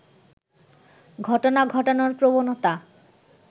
ঘটনা ঘটানোর প্রবণতা